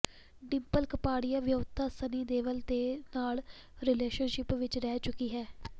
ਡਿੰਪਲ ਕਪਾੜੀਆ ਵਿਆਹੁਤਾ ਸਨੀ ਦਿਓਲ ਦੇ ਨਾਲ ਰਿਲੇਸ਼ਨਸ਼ਿਪ ਵਿੱਚ ਰਹਿ ਚੁੱਕੀ ਹੈ